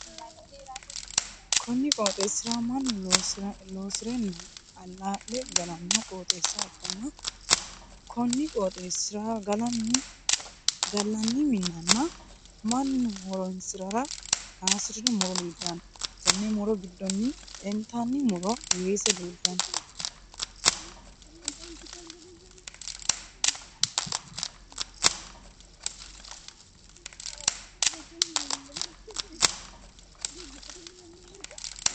Konni qooxeesira mannu loosirenna alaa'le galano qooxeessa ikanna konni qooxeesira galanni minnanna mannu horoonsirara kaasirino muro leeltano. Tenne muro gidonni intanni muro weese leeltano.